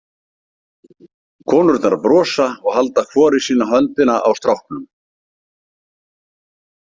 Konurnar brosa og halda hvor í sína höndina á stráknum.